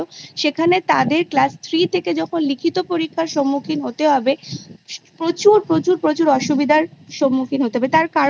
সেখানে তাদের Class Three থেকে যখন লিখিত পরীক্ষার সম্মুখীন হতে হবে প্রচুর প্রচুর প্রচুর অসুবিধার সম্মুখীন হতে হবে তার কারণ